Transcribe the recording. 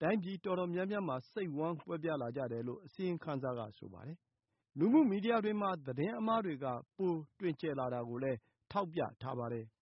တိုင်းပြည်တော်တော်များများမှာ စိတ်ဝမ်းကွဲပြားလာကြတယ်လို့ အစီရင်ခံစာက ဆိုပါတယ်။ လူမှု မီဒီယာတွေမှာ သတင်းအမှားတွေက ပိုတွင်ကျယ်လာတာကိုလည်း ထောက်ပြထားပါတယ်။